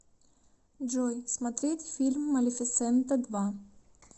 джой смотреть фильм малифисента два